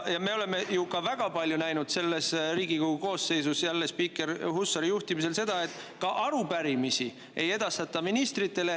Me oleme ju väga palju näinud selles Riigikogu koosseisus seda, et spiiker Hussari juhtimisel ei edastata ministritele ka arupärimisi.